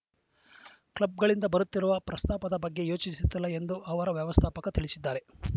ಕ್ಲಬ್‌ಗಳಿಂದ ಬರುತ್ತಿರುವ ಪ್ರಸ್ತಾಪದ ಬಗ್ಗೆ ಯೋಚಿಸುತ್ತಿಲ್ಲ ಎಂದು ಅವರ ವ್ಯವಸ್ಥಾಪಕ ತಿಳಿಸಿದ್ದಾರೆ